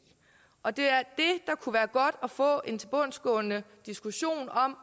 og det er det kunne være godt at få en tilbundsgående diskussion om